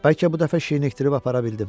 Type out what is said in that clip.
Bəlkə bu dəfə şirinləşdirib apara bildim.